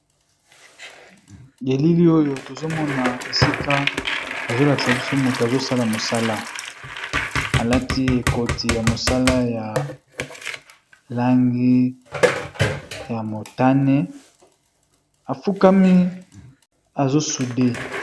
Elilioyo tozomona esika bazolakisabiso mutu azosala musala alati koti ya musala ya langi yamotane afukami azosude